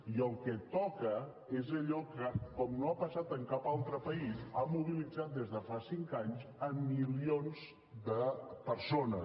i el que toca és allò que com no ha passat en cap altre país ha mobilitzat des de fa cinc anys milions de persones